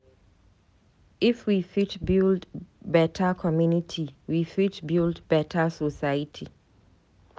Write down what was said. If we fit build beta community, we fit build beta society.